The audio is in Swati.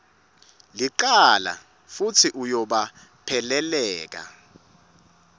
licala futsi uyabopheleleka